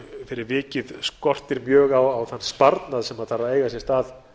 fyrir vikið skortir mjög á þann sparnað sem þarf að eiga sér stað